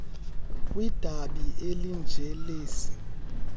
kwidabi elinje lesi